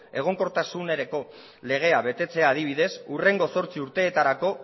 egonkortasunerako legea betetzea adibidez hurrengo zortzi urteetarako